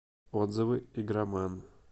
отзывы игроман